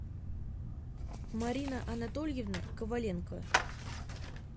марина анатольевна коваленко